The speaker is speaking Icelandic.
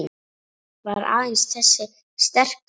Var aðeins þessi sterka trú